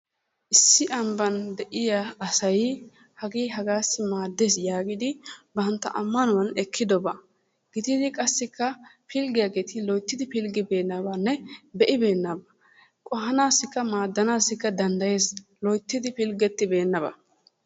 Issi ambban de'iyaa asay hagee hagassi maaddees yaagidi bantta ammanuwaan ekkidobaa. Gididi qassikka pilggiyaageti loytti pilggibenanne be'ibeenabaa qohaanassika maaddanaasi danddayees loyttidi pilggetibeenaba.